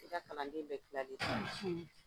I ka kalanden bɛɛ klali